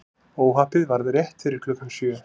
Óhappið varð rétt fyrir klukkan sjö